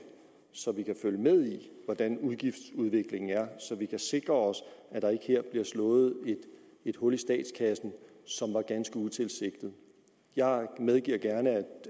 så vi kan følge med i hvordan udgiftsudviklingen er og så vi kan sikre os at der ikke her bliver slået et hul i statskassen som er ganske utilsigtet jeg medgiver gerne